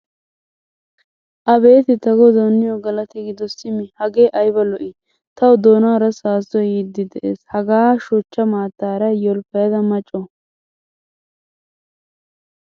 Abeeti ta godawu niyo galatti gido simi hage ayba lo'i! Tawu doonaara saasoy yiidi de'ees. Hagaa shochcha maattaara yolppayada maa co.